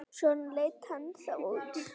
Svona leit hann þá út.